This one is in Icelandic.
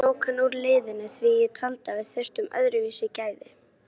Ég tók hann út úr liðinu því að ég taldi að við þyrftum öðruvísi gæði.